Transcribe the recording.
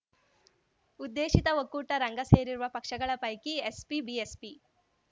ಉದ್ದೇಶಿತ ಒಕ್ಕೂಟ ರಂಗ ಸೇರುವ ಪಕ್ಷಗಳ ಪೈಕಿ ಎಸ್ಪಿ ಬಿಎಸ್‌ಪಿ